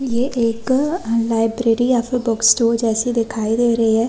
ये एक लाइब्रेरी या फिर बुक स्टोर जैसी दिखाई दे रही है।